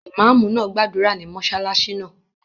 Ìmáàmù náà gbàdúrà ní mọ́sálásí náà